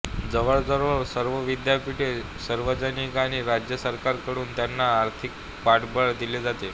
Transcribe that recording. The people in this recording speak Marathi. जवळजवळ सर्व विद्यापीठे सार्वजनिक आणि राज्य सरकार कडून त्यांना आर्थिक पाठबळ दिले जाते